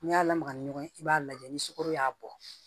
N'i y'a lamaga ni ɲɔgɔn ye i b'a lajɛ ni sukaro y'a bɔ